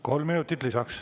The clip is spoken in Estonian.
Kolm minutit lisaks.